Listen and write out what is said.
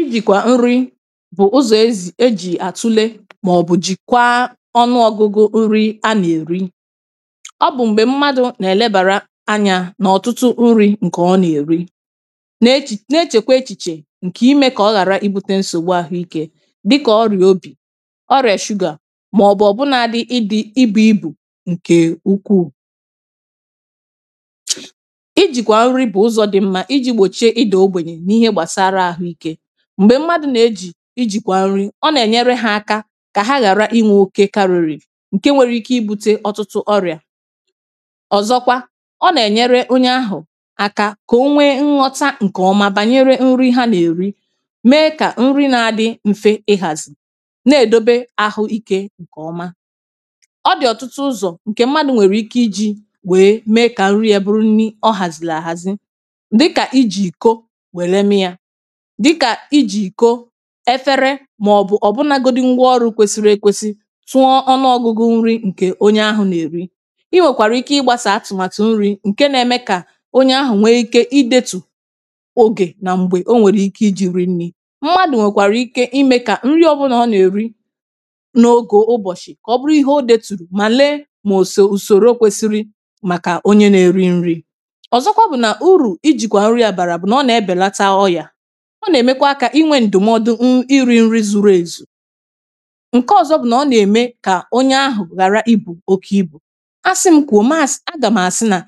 ịjìkwà nri bụ̀ ụzọ̀ ezì ejì àtụle màọ̀bụ̀ jìkwaa ọnụ ọ̀gụgụ nri a nà-èri ọbụ̀ m̀gbè mmadụ̀ nà-èlebàrȧ anyȧ nà ọ̀tụtụ nri̇ ǹkè ọ nà-èri na-echèkwa echìchè ǹkè imė kà ọ̀ghàra ịbute nsògbu àhụ ikė dịkà ọrì obì ọrìà shugà màọ̀bụ̀ ọ̀bụ̀ ọ̀bụ̀ na-adị ịdị̇ ịbụ̇ ịbụ̇ ǹkè ukwuù m̀gbè mmadụ̀ nà-ejì ijìkwà nri ọ nà-ènyere ha aka kà a hàra ịnwė okė karịrị ǹke nwere ike ịbu̇te ọtụtụ ọrị̀à ọ̀zọkwa ọ nà-ènyere onye ahù àkà kà onwe nghọta ǹkèọma bànyere nri ha nà-èri mee kà nri na-adị mfe ịhàzì na-èdobe ahụ ike ǹkèọma ọdì ọ̀tụtụ ụzọ̀ ǹkè mmadụ̀ nwèrè ike iji̇ wèe mee kà nri ya bụrụ nni ọ hàzìrì àhàzi dịkà ijì kò efere màọbụ̀ ọ̀bụnȧgodi ngwọ ọrụ̇ kwesiri ekwesi tụọ ọnụọgụgụ nri ǹkè onye ahụ̇ nà-èri i nwèkwàrà ike ịgbȧsà àtụ̀màtụ̀ nri̇ ǹke nȧ-eme kà onye ahụ̀ nwee ike idėtù ogè nà m̀gbè onwèrè ike iji̇ rinni mmadụ̀ nwèkwàrà ike imė kà nri ọbụnà ọ nà-èri n’ogò ụbọ̀shị̀ kà ọ bụrụ ihe odėtùrù mà lee mà òsò ùsòro kwesiri màkà onye nà-èri nri̇ ọ̀zọkwa bụ̀ nà urù ijìkwà nri àbàrà ọ nà-èmekwa akȧ inwė ǹdụ̀mọdụ ṅụ iri nri zuru èzù ǹke ọzọ bụ̀ nà ọ nà-ème kà onye ahụ̀ ghàra ibù oke ibù asị m kwùo maasị̀, agàmàsị nà